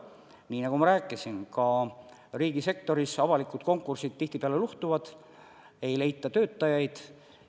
Nii nagu ma ka rääkisin, riigisektoris avalikud konkursid tihtipeale luhtuvad, ei leita töötajaid.